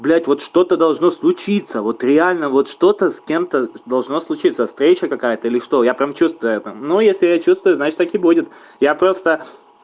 блять вот что то должно случиться вот реально вот что то с кем то должно случиться встреча какая то или что я прям чувствую но если я чувствую значит так и будет я просто